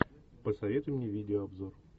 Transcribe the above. посоветуй мне видеообзор